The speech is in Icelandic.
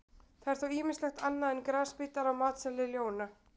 Það er þó ýmislegt annað en grasbítar á matseðli ljóna.